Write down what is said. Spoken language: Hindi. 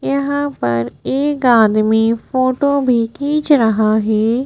यहां पर एक आदमी फोटो भी खींच रहा है।